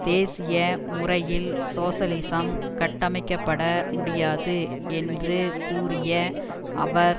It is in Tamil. தேசிய முறையில் சோசலிசம் கட்டமைக்கப்பட முடியாது என்று கூறிய அவர்